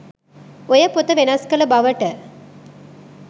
ඔය පොත වෙනස් කල බවට